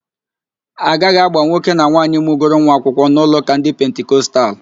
A gaghị agba nwoke na nwaanyị mụgoro nwa akwụkwọ n'ụlọụ́kà ndị Pentikostal